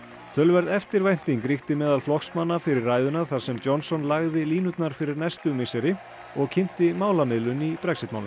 töluverð eftirvænting ríkti meðal flokksmanna fyrir ræðuna þar sem Johnson lagði línurnar fyrir næstu misseri og kynnti málamiðlun í Brexit málum